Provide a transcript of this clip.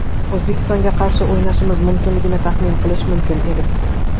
O‘zbekistonga qarshi o‘ynashimiz mumkinligini taxmin qilish mumkin edi.